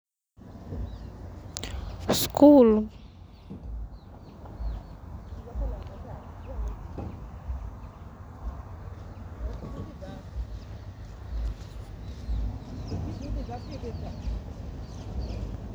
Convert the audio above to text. nothing substantial done